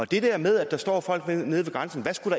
det der med at der står folk nede ved grænsen hvad skulle